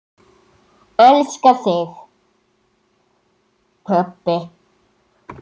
Elska þig, pabbi.